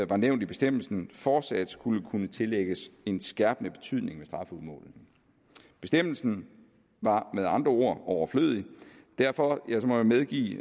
var nævnt i bestemmelsen fortsat skulle kunne tillægges en skærpende betydning ved strafudmålingen bestemmelsen var med andre ord overflødig derfor må jeg medgive